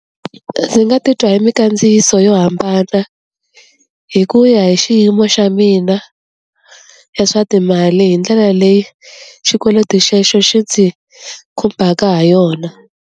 Ndzi nga titwa hi mikandziyiso yo hambana hi ku ya hi xiyimo xa mina ya swa timali hi ndlela leyi xikweleti xexo xi ndzi khumbaka ha yona.